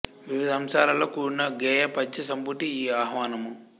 వివిధ అంశాలతో కూడిన గేయ పద్య సంపుటి ఈ ఆహ్వానము